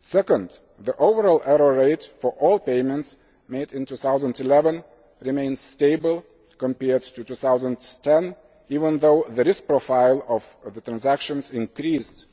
Secondly, the overall error rate for all payments made in 2011 remains stable compared with 2010, even though the risk profile of the transactions increased